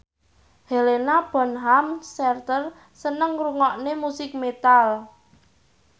Helena Bonham Carter seneng ngrungokne musik metal